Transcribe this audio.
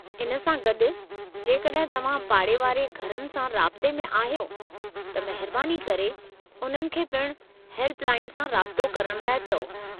इन सां गॾु, जेकॾहिं तव्हां पाड़े वारे घरनि सां राब्ते में आहियो त महिरबानी करे उन्हनि खे पिणु हेल्प लाइन सां राब्तो करण लाइ चओ।